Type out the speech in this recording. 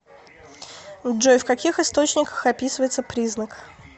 джой в каких источниках описывается признак